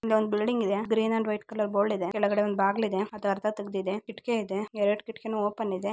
ಇಲ್ಲೊಂದು ಬಿಲ್ಡಿಂಗ್ ಇದೆ green and white colour board ಇದೆ ಕೆಳಗಡೆ ಒಂದು ಬಾಗಿಲು ಇದೆ ಅದು ಅರ್ಧ ತೆಗೆದಿದೆ